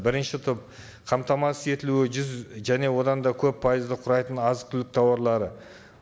бірінші топ қамтамасыз етілуі жүз және одан да көп пайызды құрайтын азық түлік тауарлары